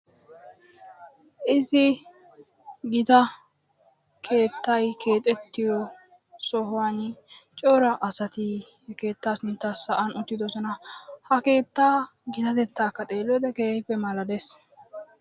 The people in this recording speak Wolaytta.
Issi gita keettay keexxetiyo sohuwan cora asati he keettaa sintta sa'an uttidoosona. Ha keettaa gitatettakka xeeliyoode keehippe malaalees.